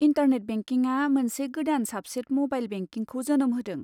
Internet बेंकिंआ मोनसे गोदान साबसेट म'बाइल बेंकिंखौ जोनोम होदों।